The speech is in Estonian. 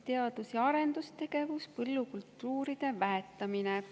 Teadus‑ ja arendustegevus, põllukultuuride väetamine.